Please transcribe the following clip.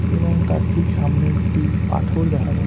এবং তার ঠিক সামনে একটি পাথর দেখা যা--